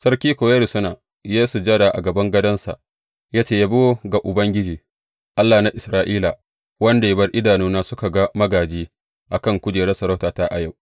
Sarki kuwa ya rusuna, ya yi sujada a kan gadonsa ya ce, Yabo ga Ubangiji, Allah na Isra’ila, wanda ya bar idanuna suka ga magāji a kan kujerar sarautata a yau.’